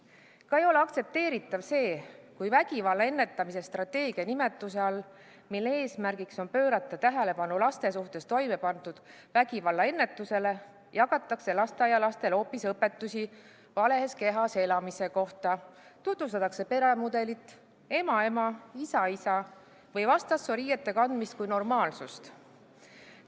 Samuti ei ole aktsepteeritav see, kui vägivalla ennetamise strateegia sildi all, mille eesmärk on pöörata tähelepanu laste suhtes toime pandava vägivalla ennetamisele, jagatakse lasteaialastele hoopis õpetusi vales kehas elamise kohta ning tutvustatakse peremudelit ema-ema ja isa-isa või vastassoo riiete kandmist kui normaalsust.